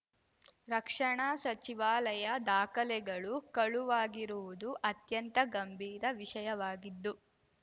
ರಕ್ಷಣಾ ಸಚಿವಾಲಯ ದಾಖಲೆಗಳು ಕಳುವಾಗಿರುವುದು ಅತ್ಯಂತ ಗಂಭೀರ ವಿಷಯವಾಗಿದ್ದು